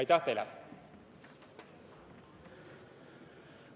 Aitäh teile!